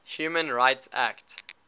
human rights act